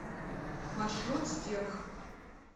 маршрут стерх